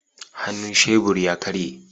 Hannun shebur ya karye